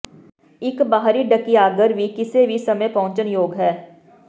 ਇਕ ਬਾਹਰੀ ਢਕੀਆਘਰ ਵੀ ਕਿਸੇ ਵੀ ਸਮੇਂ ਪਹੁੰਚਯੋਗ ਹੈ